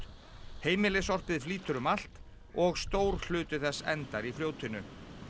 heimilissorpið flýtur um allt og stór hluti þess endar í fljótinu